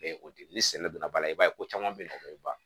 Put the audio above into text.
o de ni sɛnɛ donna ba la i b'a ye ko caman bɛ nɔgɔ ba